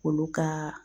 Olu ka